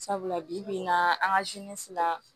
Sabula bi bi in na an ka fila